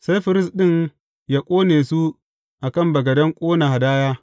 Sai firist ɗin yă ƙone su a kan bagaden ƙona hadaya.